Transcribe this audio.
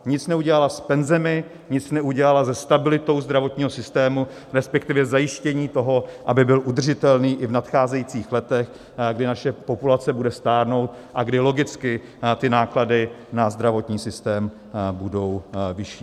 Nic neudělala s penzemi, nic neudělala se stabilitou zdravotního systému, respektive zajištěním toho, aby byl udržitelný i v nadcházejících letech, kdy naše populace bude stárnout a kdy logicky ty náklady na zdravotní systém budou vyšší.